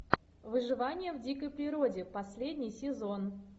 выживание в дикой природе последний сезон